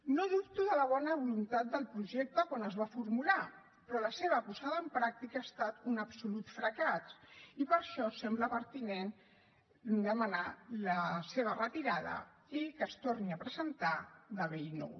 no dubto de la bona voluntat del projecte quan es va formular però la seva posada en pràctica ha estat un absolut fracàs i per això sembla pertinent demanar la seva retirada i que es torni a presentar de bell nou